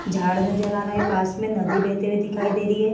झाड़ नजर आ रहा है। पास में नदी बहती हुई दिखाई दे रही है।